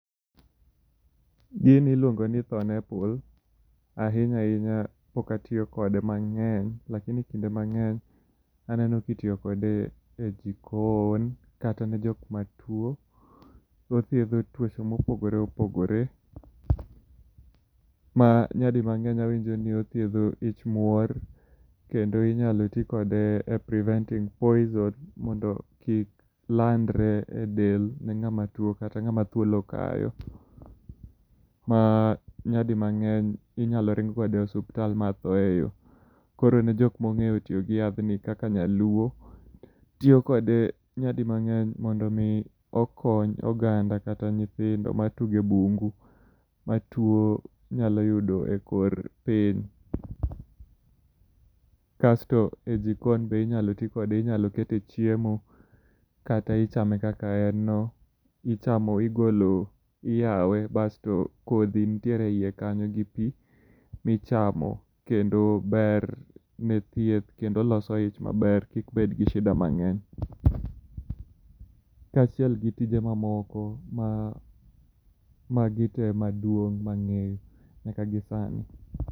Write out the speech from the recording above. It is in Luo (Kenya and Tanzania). Gini iluongo ni thorn apple, ahinya hinya pok atiyokode mange'ny lakini kinde mange'ny aneno ka itiyo kode e jikon kata ne jok matuo, othietho tuoche mo opogore opogore, ma nyadimange'ny awinjo ni othietho hich muor, kendo inyalo ti kode e preventing poison mondo kik landre e del ne nga'ma tuo kata nga'ma thuol okayo ma nyadi mange'ny inyalo ring' kode e ospital ma thoe yo, koro ne jok ma onge'yo tiyo gi yathni kaka nyaluo, tiyokode e nyadimange'ny mondo mi okony oganda kata nyithindo matugo e bungo matuo nyalo yudo e kor piny kasto e jikon be inyalo ti kode inyalo kete e chiemo, kata ichame kaka en no ichamo , igolo iyawe basto kothi nitiere e hiye kanyo gi pi michamo kendo ber nitie kendo loso icha maber kik bed gi shida mange'ny kachiel gi tije mamoko magite maduong' mange'yo nyaka gi sani.